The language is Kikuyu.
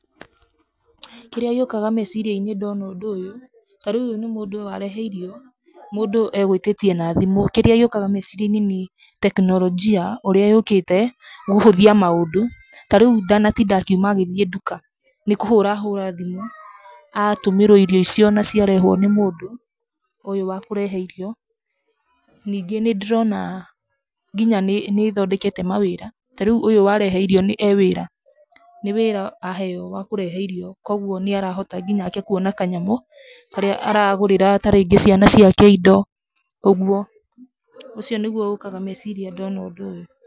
Kĩrĩa gĩũkaga meciria-inĩ ndona ũndũ ũyũ, ta rĩu ũyũ nĩ mũndũ warehe irio mũndũ egũĩtĩtie na thimũ. Kĩrĩa gĩũkaga meciria-inĩ nĩ teknologia, ũrĩa yũkĩte gũhũthia maũndũ. Ta rĩu ndanatinda akiuma agĩthiĩ nduka, nĩ kũhũra ahũra thimũ, atũmĩrwo irio icio na ciarehwo nĩ mũndũ ũyũ wa kũrehe irio. Ningĩ nĩ ndĩrona nginya nĩ ĩthondekete mawĩra, ta rĩu ũyũ warehe irio e wĩra. Nĩ wĩra aheo wa kũrehe irio kwoguo, nĩ arahota nginyake kũona kanyamũ karĩa aragũrĩra ta rĩngĩ ciana indo, ũguo. Ũcio nĩguo ũkaga meciria ndona ũndũ ũyũ.